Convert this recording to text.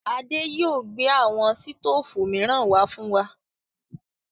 Adé yìí ó gbé àwọn sítoòfù miran wá fún wa.